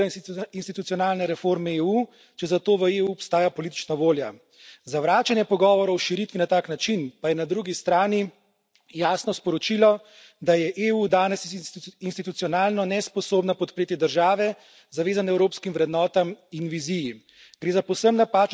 Širitev namreč ne ovira institucionalne reforme EU, če zato v EU obstaja politična volja. Zavračanje pogovorov o širitvi na tak način pa je na drugi strani jasno sporočilo, da je EU danes institucionalno nesposobna podpreti države, zavezane evropskim vrednotam in viziji.